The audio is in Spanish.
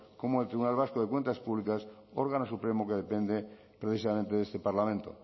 como el tribunal vasco de cuentas públicas órgano supremo que depende precisamente de este parlamento